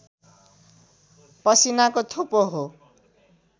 पसिनाको थोपो हो